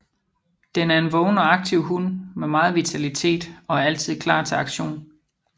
Den er en vågen og aktiv hund med meget vitalitet og er altid klar til aktion